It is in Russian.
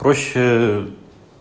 проще